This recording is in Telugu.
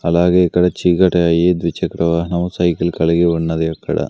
అలాగే ఇక్కడ చీకటి అయి ద్విచక్ర వాహనం సైకిల్ కలిగి ఉన్నది అక్కడ.